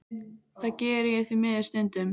Það geri ég því miður stundum.